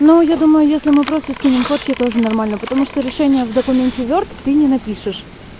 ну я думаю если мы просто скинем фотки тоже нормально потому что решение в документе ворд ты не напишешь